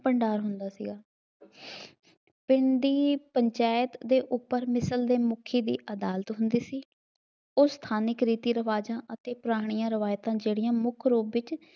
ਭੰਡਾਰ ਹੁੰਦਾ ਸੀਗਾ। ਪਿੰਡ ਦੀ ਪੰਚਾਇਤ ਦੇ ਉੱਪਰ ਮਿਸਲ ਦੇ ਮੁਖੀ ਦੀ ਅਦਾਲਤ ਹੁੰਦੀ ਸੀ, ਉਹ ਸਥਾਨਿਕ ਰੀਤੀ ਰਿਵਾਜ਼ਾਂ ਅਤੇ ਪੁਰਾਣੀਆਂ ਰਿਵਾਇਤਾਂ ਜਿਹੜੀਆਂ ਮੁੱਖ ਰੂਪ ਵਿੱਚ